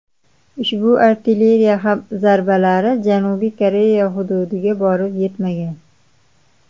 Ushbu artilleriya zarbalari Janubiy Koreya hududiga borib yetmagan.